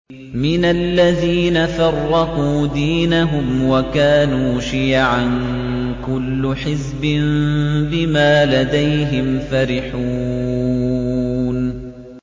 مِنَ الَّذِينَ فَرَّقُوا دِينَهُمْ وَكَانُوا شِيَعًا ۖ كُلُّ حِزْبٍ بِمَا لَدَيْهِمْ فَرِحُونَ